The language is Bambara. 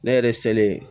Ne yɛrɛ selen